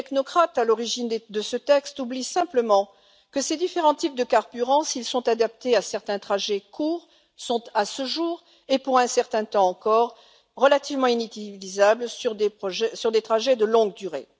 mais les technocrates à l'origine de ce texte oublient simplement que ces différents types de carburant, s'ils sont adaptés à certains trajets courts, sont à ce jour et pour un certain temps encore relativement inutilisables sur des trajets de longue durée.